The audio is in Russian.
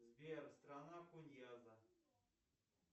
сбер страна куньяза